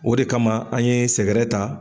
O de kama an ye sɛgɛrɛ ta